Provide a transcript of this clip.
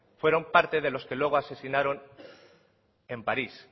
fueron parte de los que luego asesinaron en parís